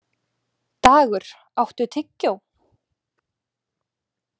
Dagur, áttu tyggjó?